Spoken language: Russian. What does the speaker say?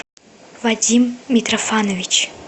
вадим митрофанович